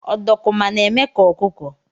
Ọdọkụma na-eme ka ọkụkọ.